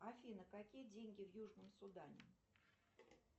афина какие деньги в южном судане